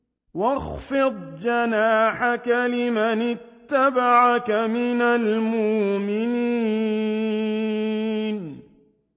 وَاخْفِضْ جَنَاحَكَ لِمَنِ اتَّبَعَكَ مِنَ الْمُؤْمِنِينَ